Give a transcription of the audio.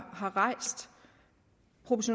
rejst